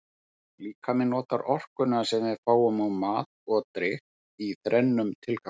Líkaminn notar orkuna sem við fáum úr mat og drykk í þrennum tilgangi.